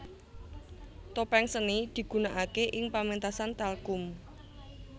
Topeng seni digunakake ing pementasan talchum